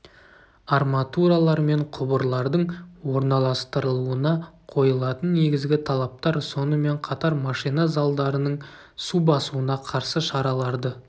арматуралар мен құбырлардың орналастырылуына қойылатын негізгі талаптар сонымен қатар машина залдарының су басуына қарсы шараларды